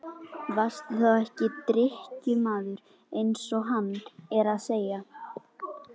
Varstu þá ekki drykkjumaður eins og hann er að segja?